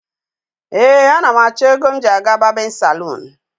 Ee, anam acho ego m ji aga babinsalon